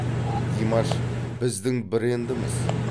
димаш біздің брендіміз